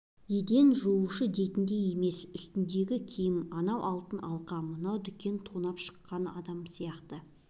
еден жуушы дейтіндей емес үстіндегі киім анау алтын алқа мынау дүкен тонап шыққан адам сияқты